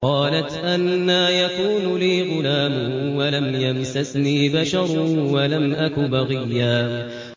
قَالَتْ أَنَّىٰ يَكُونُ لِي غُلَامٌ وَلَمْ يَمْسَسْنِي بَشَرٌ وَلَمْ أَكُ بَغِيًّا